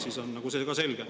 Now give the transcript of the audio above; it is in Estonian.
Siis on see ka selge.